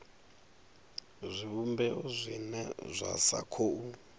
zwivhumbeo zwine zwa sa khou